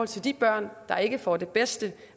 til de børn der ikke får det bedste